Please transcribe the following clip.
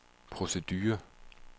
producere